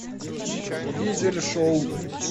дизель шоу